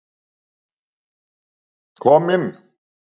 Kom inn!